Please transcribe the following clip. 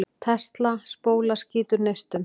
Tesla-spóla skýtur neistum.